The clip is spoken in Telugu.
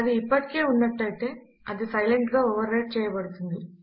అది ఇప్పటికే ఉన్నటైతే అది సైలెంట్ గా ఓవర్ రైట్ చేయబడుతుంది